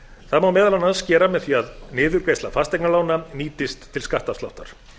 það má meðal annars gera með því að niðurgreiðsla fasteignalána nýtist til skattafsláttar